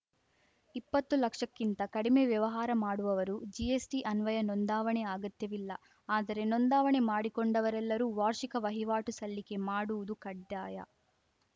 ಇಪ್ಪತ್ತು ಲಕ್ಷಕ್ಕಿಂತ ಕಡಿಮೆ ವ್ಯವಹಾರ ಮಾಡುವವರು ಜಿಎಸ್‌ಟಿ ಅನ್ವಯ ನೋಂದಾವಣೆ ಅಗತ್ಯವಿಲ್ಲ ಆದರೆ ನೋಂದಾವಣೆ ಮಾಡಿಕೊಂಡವರೆಲ್ಲರೂ ವಾರ್ಷಿಕ ವಹಿವಾಟು ಸಲ್ಲಿಕೆ ಮಾಡುವುದು ಕಡ್ಡಾಯ